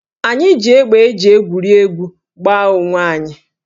Anyị ji égbè e ji egwuri egwuregwu gbaa onwe anyị